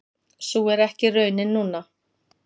Sú er ekki raunin núna.